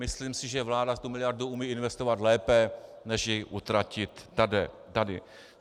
Myslím si, že vláda tu miliardu umí investovat lépe než ji utratit tady.